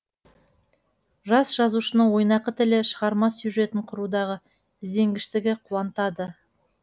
жас жазушының ойнақы тілі шығарма сюжетін құрудағы ізденгіштігі қуантады